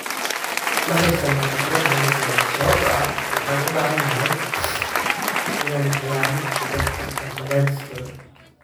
Ma haysano khibrad nagu filan sababtoo ah waxaan u barannay inaan ciyaarno kubada cagta cadaadis badan.